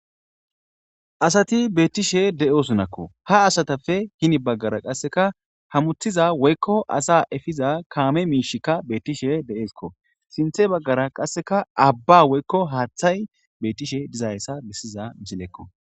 Asati beettishe de'osunakko ha asatapfe hini baggara qasseka hamuthiza woykko asa efiza kaame miishikka beettishe de7eeskko sinthe baggara qasseka abba woykko haaththay bettishe dizayssa bissiza mcilekko.